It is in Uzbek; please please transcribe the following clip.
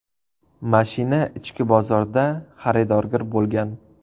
Mashina ichki bozorda xaridorgir bo‘lgan.